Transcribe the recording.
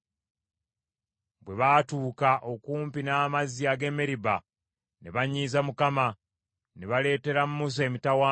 Bwe baatuuka okumpi n’amazzi ag’e Meriba ne banyiiza Mukama , ne baleetera Musa emitawaana;